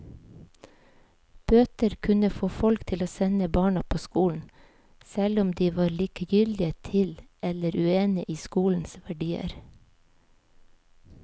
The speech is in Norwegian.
Bøter kunne få folk til å sende barna på skolen, selv om de var likegyldige til eller uenige i skolens verdier.